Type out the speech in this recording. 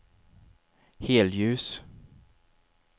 helljus